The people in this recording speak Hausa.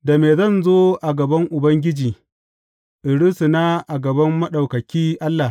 Da me zan zo a gaban Ubangiji in rusuna a gaban Maɗaukaki Allah?